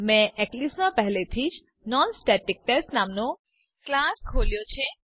મેં એક્લિપ્સ માં પહેલેથી જ નોનસ્ટેટિકટેસ્ટ નામનો ક્લાસ ખોલ્યો છે